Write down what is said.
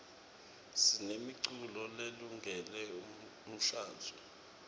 sinemiculo lelungele umshadvo